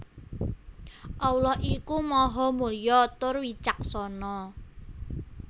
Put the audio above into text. Allah iku Maha Mulya tur Wicaksana